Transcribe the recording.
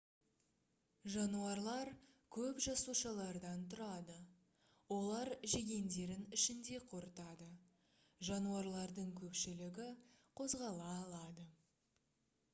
жануарлар көп жасушалардан тұрады олар жегендерін ішінде қорытады жануарлардың көпшілігі қозғала алады